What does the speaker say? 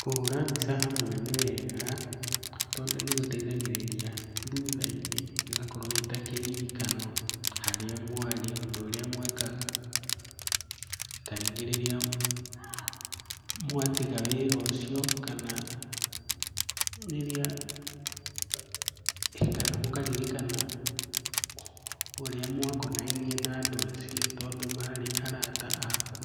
Kũhũra mbica hamwe nĩ wega tondũ nĩgũteithagĩrĩa thutha-inĩ, gĩgakorwo gĩ ta kĩririkano. Harĩa mwarĩ, ũndũ ũrĩa mwekaga. Tarĩngĩ rĩrĩa mwatiga wĩra ũcio kana rĩrĩa, kana mũkaririkana ũrĩa mwakonainie na andũ acio, tondũ marĩ arata aku.